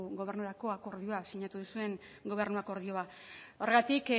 gobernurako akordioak sinatu duzuen gobernu akordioa horregatik